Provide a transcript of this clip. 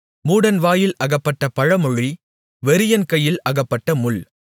மூடன் வாயில் அகப்பட்ட பழமொழி வெறியன் கையில் அகப்பட்ட முள்